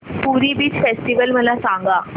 पुरी beach festival मला सांग